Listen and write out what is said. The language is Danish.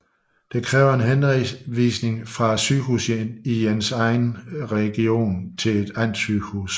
Det kræver en henvisning fra sygehuset i ens region til det andet sygehus